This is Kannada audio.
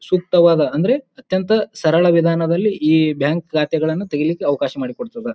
ಸೂಕ್ತದಾದ ಅಂದ್ರೆ ಅತ್ಯಂತ ಸರಳ ವಿಧಾನದಲ್ಲಿ ಈ ಬ್ಯಾಂಕ್ ಖಾತೆಗಳನ್ನು ತೆಗಿಲಿಕ್ಕೆ ಅವಕಾಶ ಮಾಡಿಕೊಡತ್ತದ್ದ.